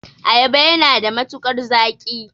Ayaba yana da matukar zaƙi.